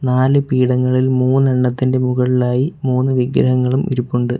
നാല് പീഠങ്ങളിൽ മൂന്നെണ്ണത്തിൻ്റെ മുകളിലായി മൂന്ന് വിഗ്രഹങ്ങളും ഇരിപ്പുണ്ട്.